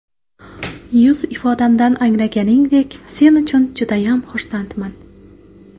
Yuz ifodamdan anglaganingdek, sen uchun judayam xursandman.